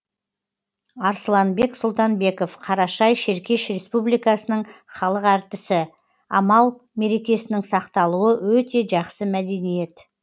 арсланбек сұлтанбеков қарашай шеркеш республикасының халық артисі амал мерекесінің сақталуы өте жақсы мәдениет